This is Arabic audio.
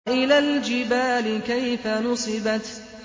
وَإِلَى الْجِبَالِ كَيْفَ نُصِبَتْ